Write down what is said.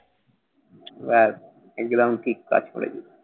আহ একদম ঠিকঠাক করে দিবি।